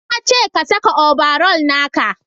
na ce ka saka obaral naka!